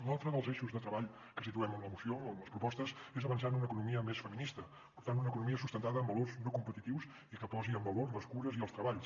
un altre dels eixos de treball que situem en la moció en les propostes és avan·çar en una economia més feminista per tant una economia sustentada en valors no competitius i que posi en valor les cures i els treballs